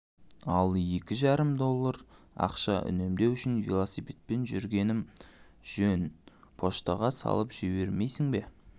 ал екі жарым доллар ақша үнемдеу үшін велосипедпен жүргенім жөнпочтаға салып жібермейсің бе